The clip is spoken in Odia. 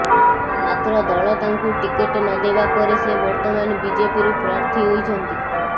ମାତ୍ର ଦଳ ତାଙ୍କୁ ଟିକେଟ ନଦେବା ପରେ ସେ ବର୍ତ୍ତମାନ ବିଜେପିରୁ ପ୍ରାର୍ଥୀ ହୋଇଛନ୍ତି